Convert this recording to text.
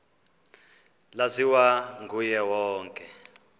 laziwa nguye wonke